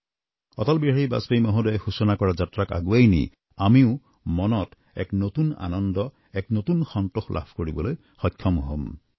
অটল বিহাৰী বাজপেয়ী মহোদয়ে সূচনা কৰা যাত্ৰাক আগুৱাই নি আমিও মনত এক নতুন আনন্দ এক নতুন সন্তোষ লাভ কৰিবলৈ সক্ষম হম